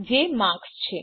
જે માર્ક્સ છે